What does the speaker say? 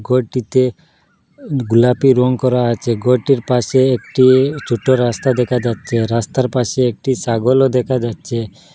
ঘরটিতে গোলাপি রং করা আছে ঘরটির পাশে একটি ছোট রাস্তা দেখা যাচ্ছে রাস্তার পাশে একটি ছাগলও দেখা যাচ্ছে।